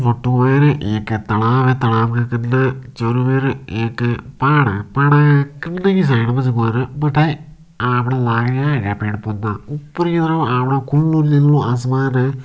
फोटो है एक तालाब है तालाब के कने चारोमेर एक पहाड़ है पहाड़ के कन की साइड पर बठ आपन लागरा है हरा पेड़ पोधा ऊपर को आपनो खुलो आसमान है।